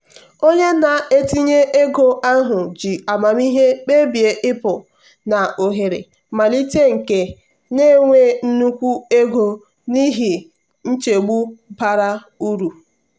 onye na-etinye ego ahụ ji amamihe kpebie ịpụ na ohere mmalite nke na-enye nnukwu ego n'ihi nchegbu bara uru.